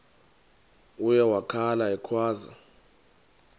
uye wakhala ekhwaza